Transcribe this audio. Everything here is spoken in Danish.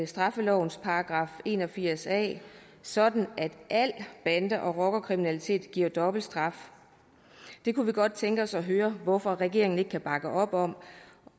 straffelovens § en og firs a sådan at al bande og rockerkriminalitet giver dobbelt straf kunne vi godt tænke os at høre hvorfor regeringen ikke kan bakke op om